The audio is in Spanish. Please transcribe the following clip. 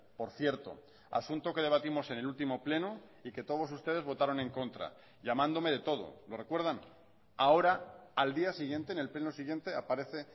por cierto asunto que debatimos en el último pleno y que todos ustedes votaron en contra llamándome de todo lo recuerdan ahora al día siguiente en el pleno siguiente aparece